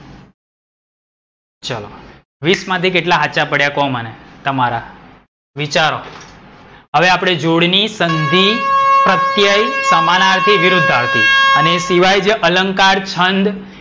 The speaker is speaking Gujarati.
વીસ માથી કેટલા હાચા પડ્યા કો મને તમારા. વિચારો. હવે આપડે જોડણી, સંધિ, પ્રત્યય, સમાનાર્થી વિરુદ્ધાર્થી અને એ સિવાય અલંકાર, છંદ.